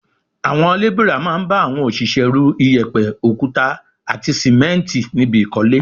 Àwọn lébìrà máa ń bá àwọn òṣìṣẹ́ ru, iyẹ̀pẹ̀, òkúta àti sìmẹ́ǹtì níbi ìkọ́lé